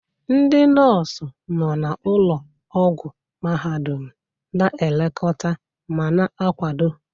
Ndị nọọsụ nọ na ụlọ ọgwụ mahadum na-elekọta ma na-akwado.